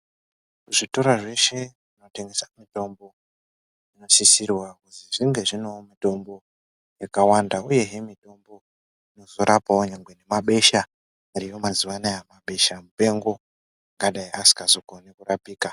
Zvitoro zveshe zvinotengesa mitombo zvinosisirwa kuzi zvinge zvinewo mitombo yakawanda uyehe mitombo inozorapawo nyangwe nemabesha ariyo mazuva anaya mabeshamupengo angadai asingazogoni kurapika.